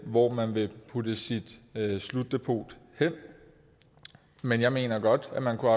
hvor man vil putte sit slutdepot hen men jeg mener godt at man kunne